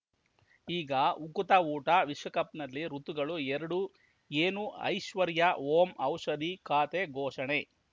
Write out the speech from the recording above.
ಈಗ ಉಕುತ ಊಟ ವಿಶ್ವಕಪ್‌ನಲ್ಲಿ ಋತುಗಳು ಎರಡು ಏನು ಐಶ್ವರ್ಯಾ ಓಂ ಔಷಧಿ ಖಾತೆ ಘೋಷಣೆ